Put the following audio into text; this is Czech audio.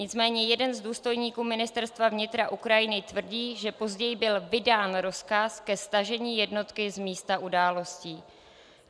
Nicméně jeden z důstojníků Ministerstva vnitra Ukrajiny tvrdí, že později byl vydán rozkaz ke stažení jednotky z místa událostí.